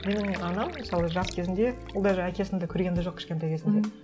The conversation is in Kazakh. менің анам мысалы жас кезінде ол даже әкесің де көрген де жоқ кішкентай кезінде